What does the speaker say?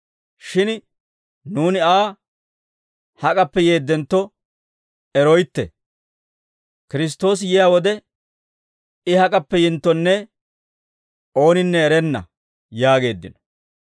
Shin nuuni Aa hak'appe yeeddentto eroytte; Kiristtoosi yiyaa wode, I hak'appe yinttonne ooninne erenna» yaageeddino.